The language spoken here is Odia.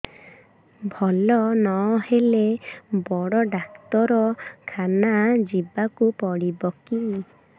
ଭଲ ନହେଲେ ବଡ ଡାକ୍ତର ଖାନା ଯିବା କୁ ପଡିବକି